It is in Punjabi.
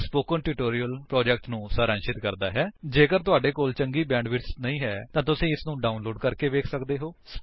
http spoken tutorial org What is a Spoken Tutorial ਜੇਕਰ ਤੁਹਾਡੇ ਕੋਲ ਚੰਗੀ ਬੈਂਡਵਿਡਥ ਨਹੀਂ ਹੈ ਤਾਂ ਤੁਸੀ ਇਸ ਨੂੰ ਡਾਉਨਲੋਡ ਕਰਕੇ ਵੇਖ ਸੱਕਦੇ ਹੋ